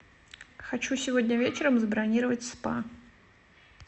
хочу сегодня вечером забронировать спа